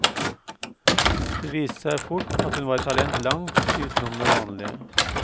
Det viste seg fort at hun var et talent langt utenom det vanlige.